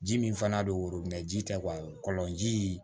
Ji min fana bɛ woyo ji tɛ kɔlɔnji